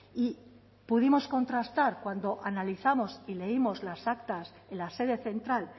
y pudimos contrastar cuando analizamos y leímos las actas en la sede central